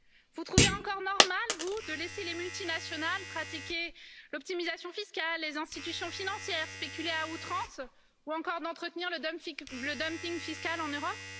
Vous trouvez encore normal, vous, de laisser les multinationales pratiquer l'optimisation fiscale, les institutions financières spéculer à outrance ou encore d'entretenir le dumping fiscal en Europe?